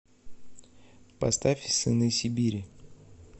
поставь сыны сибири